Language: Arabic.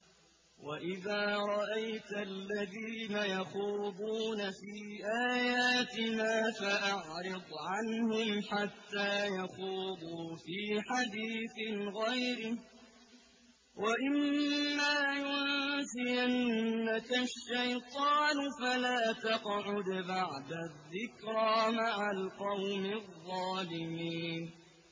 وَإِذَا رَأَيْتَ الَّذِينَ يَخُوضُونَ فِي آيَاتِنَا فَأَعْرِضْ عَنْهُمْ حَتَّىٰ يَخُوضُوا فِي حَدِيثٍ غَيْرِهِ ۚ وَإِمَّا يُنسِيَنَّكَ الشَّيْطَانُ فَلَا تَقْعُدْ بَعْدَ الذِّكْرَىٰ مَعَ الْقَوْمِ الظَّالِمِينَ